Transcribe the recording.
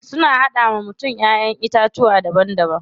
Suna hada wa mutum Ƴaƴan itatuwa daban daban.